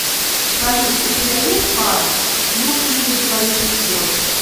салют у тебя есть пара ну или двоичный код